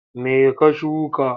Me ka shuka?